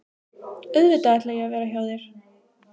Auðvitað ætla ég að vera hjá þér!